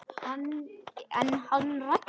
En hann Raggi?